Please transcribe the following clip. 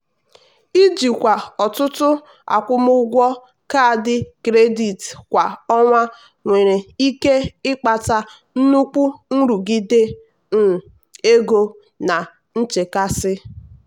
ijikwa ọtụtụ akwụmụgwọ kaadị kredit kwa ọnwa nwere ike ịkpata nnukwu nrụgide um ego na nchekasị.